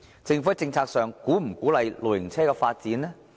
政府在政策上是否鼓勵露營車發展？